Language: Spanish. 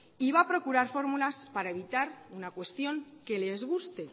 y va a procurar fórmulas para evitar una cuestión que les guste